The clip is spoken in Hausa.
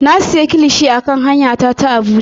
Na siya kilishi a kan hanya ta ta Abuja.